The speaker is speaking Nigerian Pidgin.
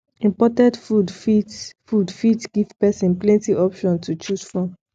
imported food fit food fit give person plenty options to choose from